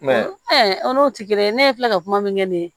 o n'o ti kelen ye ne ye filɛ ka kuma min kɛ nin ye